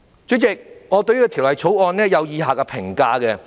主席，我對《條例草案》有以下評價。